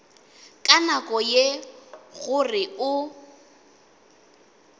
ka nako ye gore o